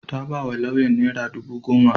Ta ba wa lauyan naira dubu goma.